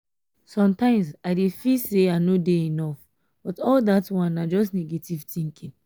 sometimes i dey feel say i no dey enough but all dat one na just negative thinking